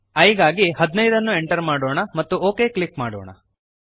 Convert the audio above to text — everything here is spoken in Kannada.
i ಗಾಗಿ 15 ಅನ್ನು ಎಂಟರ್ ಮಾಡೋಣ ಮತ್ತು ಒಕ್ ಕ್ಲಿಕ್ ಮಾಡೋಣ